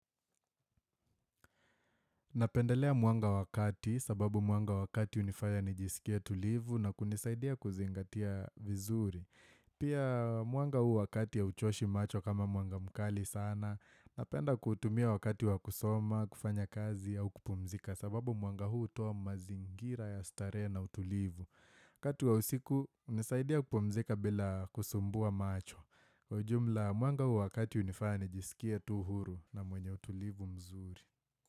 Napendelea mwanga wa kati, sababu mwanga wa kati hunifaya nijisikie tulivu na kunisaidia kuzingatia vizuri. Pia mwanga huu wa kati ya hauchoshi macho kama mwanga mkali sana, napenda kutumia wakati wa kusoma, kufanya kazi au kupumzika, sababu mwanga huu hutoa mazingira ya starehe na utulivu. Wakati wa usiku, hunisaidia kupumzika bila kusumbua macho. Kwa jumla, mwanga huu wakati hunifanya nijisikie tu huru na mwenye utulivu mzuri.